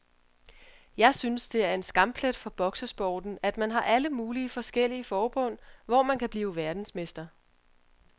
Jeg synes det er en skamplet for boksesporten, at man har alle mulige forskellige forbund, hvor man kan blive verdensmester.